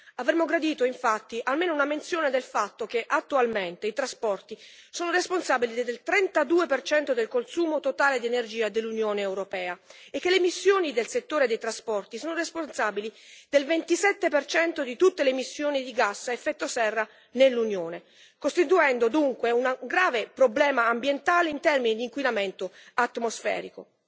Avremmo gradito infatti almeno una menzione del fatto che attualmente i trasporti sono responsabili del 32 del consumo totale di energia dell'Unione europea e che le emissioni del settore dei trasporti sono responsabili del 27 di tutte le emissioni di gas a effetto serra nell'Unione, costituendo dunque un grave problema ambientale in termini di inquinamento atmosferico.